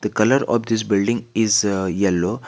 The colour of this building is yellow.